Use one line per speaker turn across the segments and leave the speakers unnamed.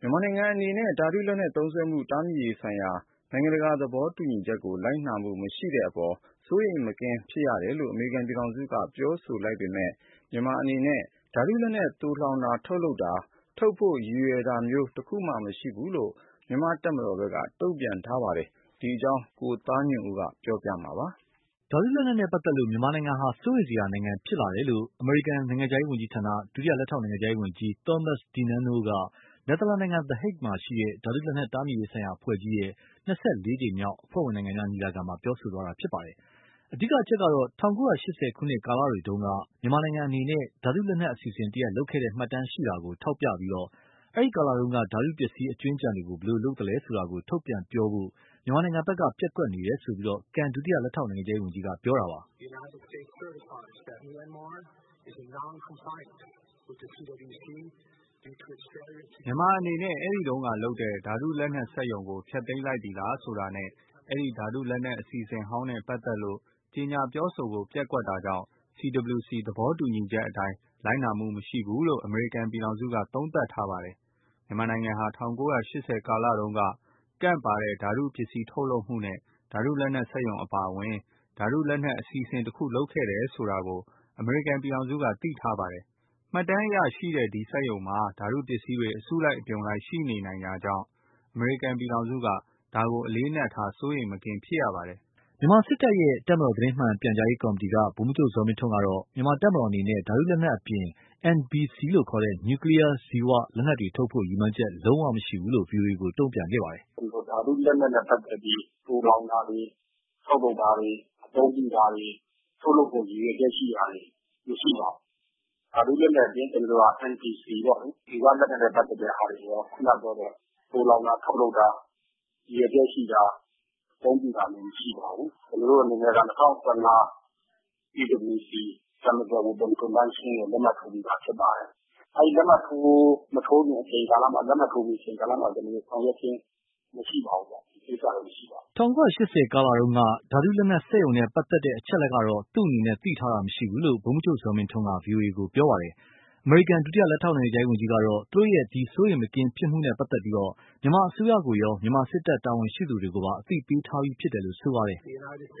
မြန်မာနိုင်ငံအနေနဲ့ ဓါတုလက်နက်သုံးစွဲမှုတားမြစ်ရေးဆိုင်ရာနိုင်ငံတကာသဘောတူညီချက်ကို လိုက်နာမှုမရှိတဲ့အပေါ် စိုးရိမ်မကင်းဖြစ်တယ်လို့ အမေရိကန်ပြည်ထောင်စုက ပြောဆိုလိုက်ပေမယ့်၊ မြန်မာအနေနဲ့ ဓါတုလက်နက် သိုလှောင်တာ ထုတ်လုပ်တာ ထုတ်ဖို့ ရည်ရွယ်တာမျိုး တခုမှ မရှိဘူးလို့ မြန်မာတပ်မတော်ဘက်က တုံ့ပြန်ထားပါတယ်။ ဒီအကြောင်း ကိုသားညွန့်ဦး ပြောပြမှာပါ
။ ဓါတုလက်နက်နဲ့ ပတ်သက်လို့ မြန်မာနိုင်ငံဟာ စိုးရိမ်စရာနိုင်ငံဖြစ်လာတယ်လို့ အမေရိကန် နိုင်ငံခြားရေး ဝန်ကြီးဌာန ဒုလက်ထောက်နိုင်ငံခြားရေးဝန်ကြီး Thomas DiNanno က နယ်သာလန်နိုင်ငံ the Hague မှာရှိတဲ့ ဓါတုလက်နက်တားမြစ်ရေးဆိုင်ရာအဖွဲ့ကြီးရဲ့ ၂၄ကြိမ်းမြောက်အဖွဲ့ဝင်နိုင်ငံများညီလာခံမှာ ပြောဆိုသွားတာပါ။ အဓိကအချက်ကတော့ ၁၉၈၀ ခုနှစ်ကာလတုန်းက မြန်မာနိုင်ငံအနေနဲ့ ဓါတုလက်နက်အစီအစဉ်တရပ်လုပ်ခဲ့တဲ့မှတ်တမ်းရှိတာကို ထောက်ပြပြီး၊ အဲဒီကာလတုန်းက ဓါတုပစ္စည်းအကြွင်းအကျန်တွေကို ဘယ်လို လုပ်သလဲဆိုတာ ထုတ်ပြန်ပြောဆိုဖို့ မြန်မာဘက်က ပျက်ကွက်နေတယ်ဆိုပြီး ကန် ဒုလက်ထောက်နိုင်ငံခြားရေးဝန်ကြီးက ပြောခဲ့တာပါ
။ “ မ
ြန်မာအနေနဲ့ အဲဒီတုန်းက လုပ်တဲ့ ဓါတုလက်နက်စက်ရုံကို ဖျက်သိမ်းလိုက်ပြီလားဆိုတာနဲ့ အဲဒီ ဓါတုလက်နက်အစီအစဉ်ဟောင်းနဲ့ပတ်သက်လို့ ကြေညာပြောဆိုဖို့ ပျက်ကွက်တာကြောင့် CWC သဘောတူညီချက်အတိုင်း လိုက်နာမှုမရှိဘူးလို့ အမေရိကန်ပြည်ထောင်စုက သုံးသပ်ထားပါတယ်။ မြန်မာနိုင်ငံဟာ ၁၉၈၀ ကာလတုန်းက ကန့်ပါတဲ့ ဓါတုပစ္စည်းထုတ်လုပ်မှုနဲ့ ဓါတုလက်နက်စက်ရုံအပါအဝင် ဓါတုလက်နက်အစီအစဉ်တခုလုပ်ခဲ့တယ်ဆိုတာကို အမေရိကန်ပြည်ထောင်စုက သိထားပါတယ်။ မှတ်တမ်းအရရှိတဲ့ ဒီစက်ရုံမှာ ဓါတုပစ္စည်းတွေ အစုအပြုံလိုက်ရှိနေနိုင်တာကြောင့် အမေရိကန်ပြည်ထောင်စုက ဒါကို အလေးအနက်ထား စိုးရိမ်မကင်းဖြစ်ရပါတယ်။”
မြန်မာစစ်တပ်ရဲ့ တပ်မတော်သတင်းမှန်ပြန်ကြားရေးကော်မတီက ဗိုလ်မှူးချုပ်ဇော်မင်းထွန်းကတော့ မြန်မာ့တပ်မတော်အနေနဲ့ ဓါတုလက်နက်အပြင် NBC လို့ခေါ်တဲ့ နျူကလီးယား ဇီ၀ လက်နက်တွေ ထုတ်ဖို့ ရည်မှန်းချက် လုံးဝမရှိဘူးလို့ ဗွီအိုအေကို တုံ့ပြန်ခဲ့ပါတယ်
။ “ဓါတုလက်နက်နဲ့ ပတ်သက်ပြီး သိုလှောင်တာတွေ၊ အသုံးပြုတာတွေ၊ထုတ်လုပ်ဖို့ ရည်ရွယ်ချက်ရှိတာတွေ မရှိပါဘူး။ ဓါတုလက်နက်အပြင် NBC ပေါ့လေ ဇီ၀ လက်နက်နဲ့ ပတ်သက်တာတွေ ရော ခုနပြောတဲ့ သိုလှောင်တာ ထုတ်လုပ်တာ ရည်ရွယ်ချက်ရှိတာ၊ အသုံးပြုတာမျိုး မရှိပါဘူး။ ကျနော်တို့အနေနဲ့က ၂၀၁၅ CWC ကို လက်မှတ်ထိုးပြီးသားဖြစ်ပါတယ်။ အဲဒီ လက်မှတ်မထိုးခင် အချိန်ကာလမှာ ၊ လက်မှတ်ထိုးပြီး အချိန်ကာလမှာ ကျနော်တို့ ဆောင်ရွက်ခြင်းမရှိပါဘူး။” ၁၉၈
၀ ကာလတုန်းက ဓါတုလက်နက်စက်ရုံနဲ့ ပတ်သက်လို့ အချက်အလက်ကတော့ သူ့အနေနဲ့ သိထားတာမရှိဘူးလို့ ဗိုလ်မှူးချုပ် ဇော်မင်းထွန်းက ပြောပါတယ်။ အမေရိကန် ဒုလက်ထောက်နိုင်ငံခြားရေး ဝန်ကြီးကတော့ သူတို့ရဲ့ စိုးရိမ်မကင်းဖြစ်မှုနဲ့ပတ်သက်လို့ မြန်မာအစိုးရကိုရော မြန်မာစစ်တပ် တာဝန်ရှိသူတွေကိုပါ အသိပေးထားပြီးဖြစ်တယ်လို့ဆိုပါတယ်။ “
ဒီ စိုး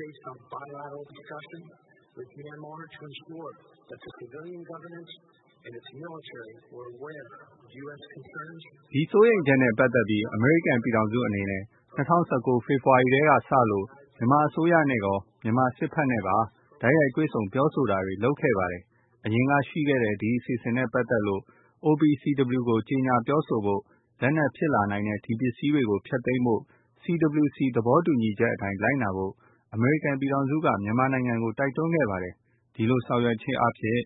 ရိမ်ချက်နဲ့ပတ်သက်ပြီး အမေရိကန်ပြည်ထောင်စုအနေနဲ့ ၂၀၁၉ ဖေဖော်ဝါရီလကတည်းကစလို့ မြန်မာအစိုးရနဲ့ရော မြန်မာစစ်ဘက်နဲ့ပါ တိုက်ရိုက်တွေ့ဆုံပြောဆိုတာတွေ လုပ်ခဲ့ပါတယ်။ အရင်ကရှိခဲ့တဲ့ ဒီအစီအစဉ်နဲ့ပတ်သက်လို့ OPCW ကို ကြေညာပြောဆိုဖို့၊ လက်နက်ဖြစ်လာနိုင်တဲ့ ဒီပစ္စည်းတွေကို ဖျက်သိမ်းဖို့ ၊ CWC သဘောတူညီချက်အတိုင်း လိုက်နာဖို့ အမေရိကန်ပြည်ထောင်စုက မြန်မာနိုင်ငံကို တိုက်တွန်းခဲ့ပါတယ်။ ဒီလိုဆောင်ရွက်ခြင်းအားဖြင့်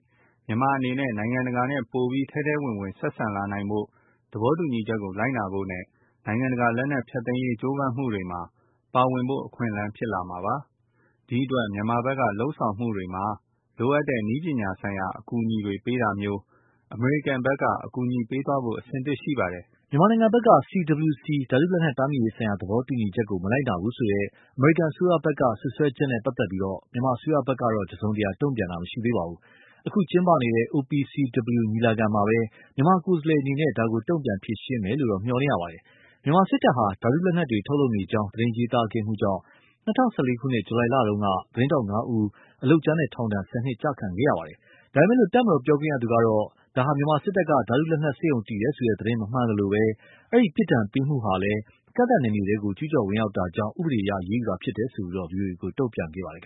မြန်မာအနေနဲ့ နိုင်ငံတကာနဲ့ ပိုပြီး ထဲထဲ ဝင်ဝင်ဆက်ဆံလာနိုင်ဖို့၊ သဘောတူညီချက်ကို လိုက်နာဖို့နဲ့ နိုင်ငံတကာလက်နက်ဖျက်သိမ်းရေးကြိုးမမ်းမှုတွေမှာ ပါဝင်ဖို့ အခွင့်အလမ်း ဖြစ်လာမှာပါ။ ဒီအတွက် မြန်မာဘက်က လုပ်ဆောင်မှုတွေမှာ လိုအပ်တဲ့ နည်းပညာဆိုင်ရာ အကူအညီတွေပေးတာမျိုး အမေရိကန်ဖက်က အကူအညီပေးသွားဖို့ အဆင်သင့်ရှိပါတယ်။” မြန်မ
ာ
ဘက်က CWC ဓါတုလက်နက်တားမြစ်ရေးဆိုင်ရာသဘောတူညီချက်ကို မလိုက်နာဘူးဆိုတဲ့ အမေရိကန်အစိုးရဘက်က စွပ်စွဲချက်နဲ့ပတ်သက်လို့ မြန်မာအစိုးရကတော့ တစုံတရာ တုံ့ပြန်တာမရှိသေးပါဘူး။ အခုကျင်းပနေတဲ့ OPCW ညီလာခံမှာပဲ မြန်မာကိုယ်စားလှယ်အနေနဲ့ ဒါကိုတုန့်ပြန်ဖြေရှင်းမယ်လို့တော့ မျှော်လင့်ရပါတယ်။ မြန်မာစစ်တပ်ဟာ ဓါတု လက်နက်တွေ ထုတ်လုပ်နေကြောင်း သတင်းရေးသား ခဲ့တာကြောင့် ဇူလိုင် ၂၀၁၄ ခုနှစ်တုန်း သတင်းထောက် ၅ ဦးဟာ အလုပ်ကြမ်းနဲ့ ထောင်ဒဏ် ၁၀ နှစ် ကျခံခဲ့ရပါတယ်။ ဒါပေမယ့် တပ်မတော်ပြောခွင့်ရသူကတော့ မြန်မာစစ်တပ်က ဓါတုလက်နက်စက်ရုံ တည်တယ်ဆိုတဲ့ သတင်းမမှန်သလို၊
အဲဒီ ပြစ်ဒဏ်ပေးမှုဟာလည်း ကန့်သတ်နယ်မြေထဲ ကျူးကျော်ဝင်ရောက် တာကြောင့် ဥပဒေအရ အရေးယူတာလို့ ဗွီအိုအေကို တုံ့ပြန်ခဲ့ပါတယ်